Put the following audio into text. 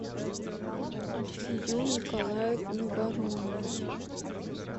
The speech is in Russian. альфию николаевну воронину